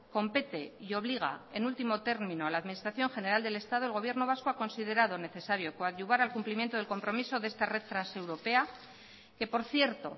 compete y obliga en último término a la administración general del estado el gobierno vasco ha considerado necesario coadyuvar al cumplimiento del compromiso de esta red transeuropea que por cierto